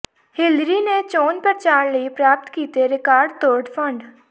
Hillary ਨੇ ਚੋਣ ਪਰਚਾਰ ਲਈ ਪ੍ਰਾਪਤ ਕੀਤੇ ਰਿਕਾਰਡ ਤੋੜ ਫੰਡ